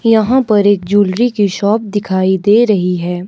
यहां पर एक ज्वैलरी की शॉप दिखाई दे रही है।